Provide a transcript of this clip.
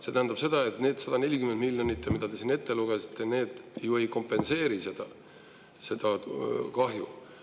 See tähendab seda, et need 140 miljonit, mis te siin ette lugesite, ju ei kompenseeri seda kahju.